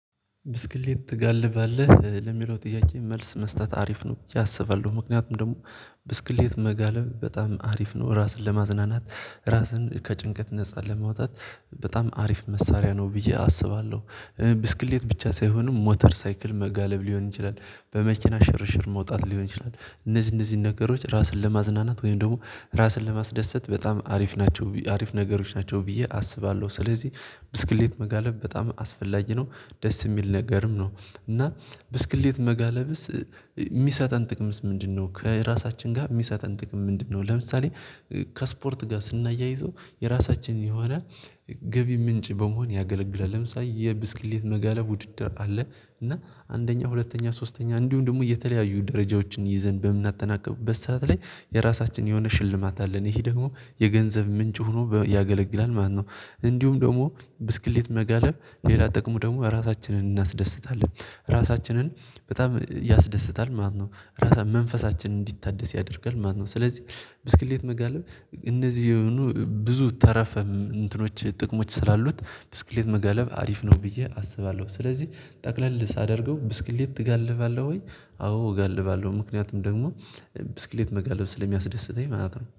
ብስክሌት ትጋልባለህ? ለሚለው ጥያቄ መልስ መስጠት አሪፍ ነው ብዬ እስባለሁ። ምክንያቱም ደግሞ ብስክሌት መጋለብ በጣም አሪፍ ነው። ራስን ለማዝናናት ራስን ከጭንቀት ነፃ ለማውጣት በጣም አሪፍ መሳሪያ ነው ብዬ አስባለሁ። ብስክሌት ብቻ ሳይሆንም ሞተር ሳይክል መጋለብ፤ ሊሆን ይችላል በመኪና ሽርሽር መውጣት ሊሆን ይችላል፤ እነዚህ እነዚህን ነገሮች ራስን ለማዝናናት ወይም ደግሞ ራስን ለማስደሰት በጣም አሪፍ ናቸው። አሪፍ ነገሮች ናቸው ብዬ አስባለሁ ስለዚህ ብስክሌት መጋለብ በጣም አስፈላጊ ነው ደስ የሚል ነገርም ነው። እና ብስክሌት መጋለብስ የሚሰጠን ጥቅም ምንድነው? ከራሳችን ጋር የሚሰጠን ጥቅም ምንድነው? ለምሳሌ ከስፖርት ጋር ስናያይዘው የራሳችንን የሆነ ገቢ ምንጭ በመሆን ያገለግላል። ለምሳሌ የብስክሌት መጋለብ ውድድር አለ እና አንደኛ፣ ሁለተኛ፣ ሶስተኛ እንዲሁም ደግሞ የተለያዩ ደረጃዎችን ይዘን በምናጠናቅበት ሰዓት ላይ የራሳችን የሆነ ሽልማት አለን ይሄ ደግሞ የገንዘብ ምንጭ ሆኖ ያገለግላል ማለት ነው። እንዲሁም ደግሞ ብስክሌት መጋለብ ሌላ ጠቅሞ ደግሞ ራሳችንን እናስደስታለን። ራሳችንን በጣም ያስደስታል ማለት ነው። ራሳችን መንፈሳችንን እንዲታደስ ያደርጋል ማለት ነው። ስለዚህ ብስክሌት መጋለብ እነዚህ የሆኑ ብዙ ተረፈ እንትኖች ጥቅሞች ስላሉት ብስክሌት መገለብ አሪፍ ነው ብዬ አስባለሁ። ስለዚህ ጠቅለል ሳደርገው ብስክሌት ትጋልባለሁ ወይ? አዎ እጋልባለሁ ምክንያቱም ደግሞ ብስክሌት መጋለብ ስለሚያስደስተኝ ማለት ነው።